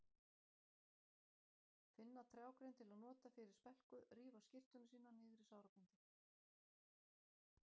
Finna trjágrein til að nota fyrir spelku, rífa skyrtuna sína niður í sárabindi.